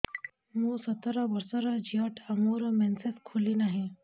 ମୁ ସତର ବର୍ଷର ଝିଅ ଟା ମୋର ମେନ୍ସେସ ଖୁଲି ନାହିଁ